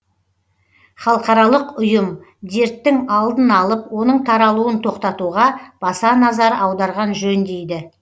халықаралық ұйым дерттің алдын алып оның таралуын тоқтатуға баса назар аударған жөн дейді